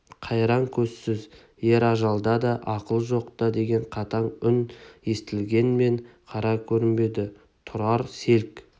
қайран көзсіз ер ажалда да ақыл жоқ тоқта деген қатаң үн естілгенмен қара көрінбеді тұрар селк